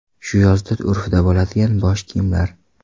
Shu yozda urfda bo‘ladigan bosh kiyimlar.